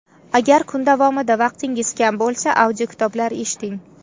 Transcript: Agar kun davomida vaqtingiz kam bo‘lsa, audiokitoblar eshiting.